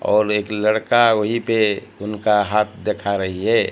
और एक लड़का वहीं पे उनका हाथ दिखा रही है।